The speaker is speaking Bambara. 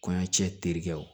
Kɔɲɔ cɛ terikɛw